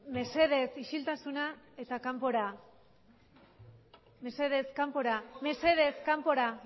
babesteko laguntzak berehala ordaintzeari buruz eztabaida